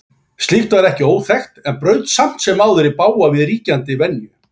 Slíkt var ekki óþekkt en braut samt sem áður í bága við ríkjandi venju.